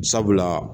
Sabula